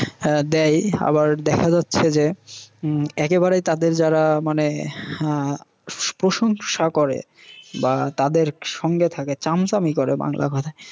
দেয়। আবার দেখা যাচ্ছে যে একেবারে তাদের যারা মানে আহ প্রশংশা করে বা তাদের সঙ্গে থাকে, চামচামি করে বাংলা কথায়